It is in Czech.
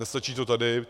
Nestačí to tady.